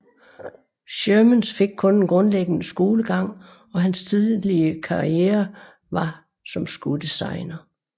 Shermans fik kun en grundlæggende skolegang og hans tidlige karriere var som skodesigner